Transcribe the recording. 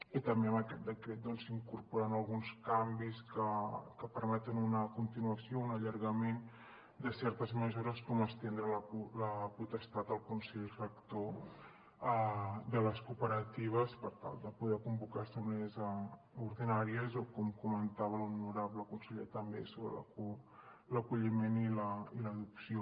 i també amb aquest decret s’incorporen alguns canvis que permeten una continuació un allargament de certes mesures com estendre la potestat al consell rector de les cooperatives per tal de poder convocar assemblees ordinàries o com comentava l’honorable conseller també sobre l’acolliment i l’adopció